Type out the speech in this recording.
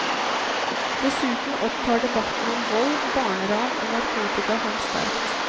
Dessuten opptar debatten om vold, barneran og narkotika ham sterkt.